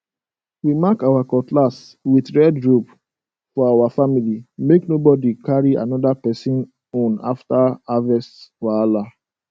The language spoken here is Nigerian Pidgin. we mark our cutlass with red rope for our family make nobody carry another person own after harvest wahala